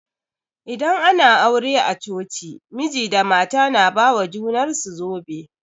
Idan ana aure a coci, miji da mata na ba ma junar su zobe.